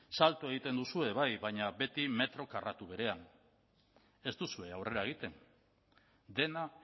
salto egiten duzue bai baina beti metro karratu berean ez duzue aurrera egiten dena